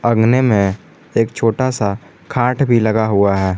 अंगने में एक छोटासा खाट भी लगा हुआ है।